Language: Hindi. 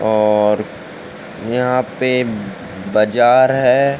और यहां पे बज़ार है।